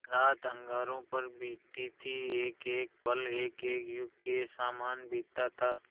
रात अंगारों पर बीतती थी एकएक पल एकएक युग के सामान बीतता था